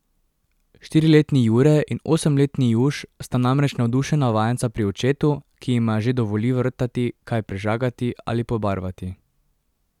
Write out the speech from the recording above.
Štiriletni Jure in osemletni Juš sta namreč navdušena vajenca pri očetu, ki jima že dovoli vrtati, kaj prežagati ali pobarvati.